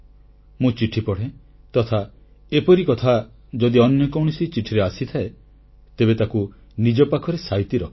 ମୁଁ ଚିଠି ପଢ଼େ ତଥା ଏପରି କଥା ଯଦି ଅନ୍ୟ କୌଣସି ଚିଠିରେ ଆସିଥାଏ ତେବେ ତାକୁ ନିଜ ପାଖରେ ସାଇତି ରଖେ